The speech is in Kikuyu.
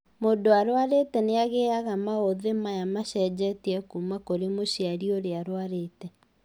Mũndũ ũrwarĩte nĩagiaga maũthĩ maya macenjetie kuma kũrĩ mũciari ũrĩa ũrwarĩte